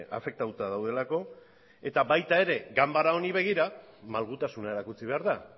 afektatuta daudelako eta baita ganbara honi begira ere malgutasuna erakutsi behar da